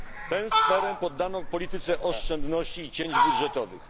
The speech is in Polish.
Tę sferę poddano polityce oszczędności i cięć budżetowych.